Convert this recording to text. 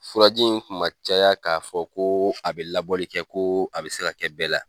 Furaji in kun ma caya k'a fɔ, ko a bɛ labɔli kɛ, ko a bi se kɛ bɛɛ la.